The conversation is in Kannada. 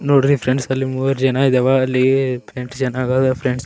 ನೋಡ್ರಿ ಫ್ರೆಂಡ್ಸ್ ಅಲ್ಲ್ ಮೂರ್ ಜನ ಇದಾವ ಅಲ್ಲಿ ಫ್ರೆಂಡ್ಸ್ ಚೆನ್ನಗದಾ ಅ ಫ್ರೆಂಡ್ಸ್ .